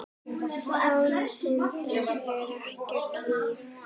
Án syndar er ekkert líf.